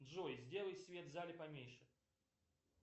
джой сделай свет в зале поменьше